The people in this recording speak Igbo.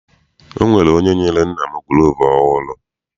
Ọ nwere onye nyere nna m gulovu ọhụụ.